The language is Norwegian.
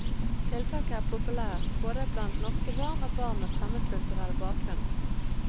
Tiltaket er populært både blant norske barn og barn med fremmedkulturell bakgrunn.